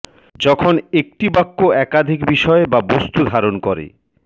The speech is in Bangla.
যখন একটি বাক্য একাধিক বিষয় বা বস্তু ধারণ করে